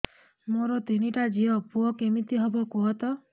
ମୋର ତିନିଟା ଝିଅ ପୁଅ କେମିତି ହବ କୁହତ